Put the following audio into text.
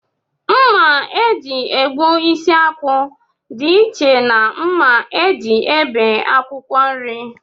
Mma e ji egbu isi akwụ dịiche na mma e ji ebie akwụkwọ nri